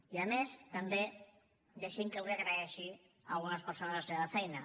i a més també deixi’m que avui agraeixi a algunes persones la seva feina